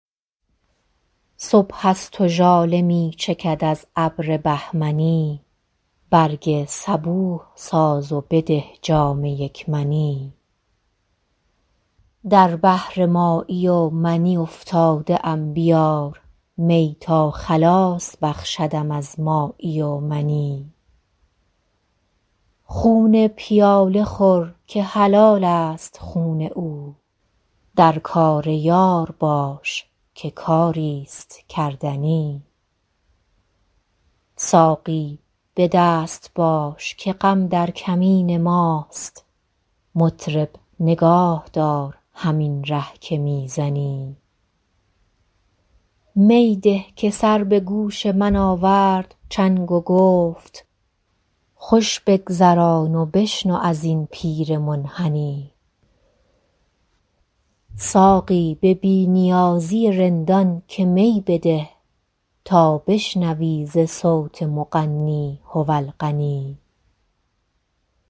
صبح است و ژاله می چکد از ابر بهمنی برگ صبوح ساز و بده جام یک منی در بحر مایی و منی افتاده ام بیار می تا خلاص بخشدم از مایی و منی خون پیاله خور که حلال است خون او در کار یار باش که کاری ست کردنی ساقی به دست باش که غم در کمین ماست مطرب نگاه دار همین ره که می زنی می ده که سر به گوش من آورد چنگ و گفت خوش بگذران و بشنو از این پیر منحنی ساقی به بی نیازی رندان که می بده تا بشنوی ز صوت مغنی هو الغنی